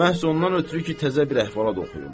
Məhz ondan ötrü ki, təzə bir əhvalat oxuyum.